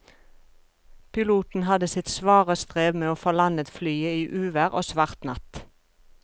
Piloten hadde sitt svare strev med å få landet flyet i uvær og svart natt.